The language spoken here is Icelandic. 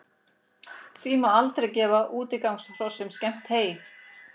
Því má aldrei gefa útigangshrossum skemmt hey.